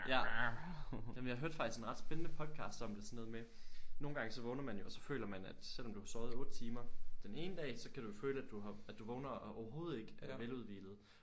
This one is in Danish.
Ja jamen jeg hørte faktisk en ret spændende podcast om det sådan noget med nogle så vågner man jo og så føler man at selvom du har sovet 8 timer den ene dag så kan du jo føle at du har at du vågner og overhovedet ikke er veludhvilet